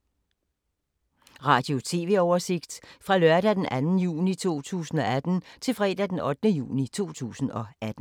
Radio/TV oversigt fra lørdag d. 2. juni 2018 til fredag d. 8. juni 2018